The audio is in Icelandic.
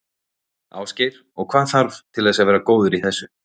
Ásgeir: Og hvað þarf til þess að vera góður í þessu?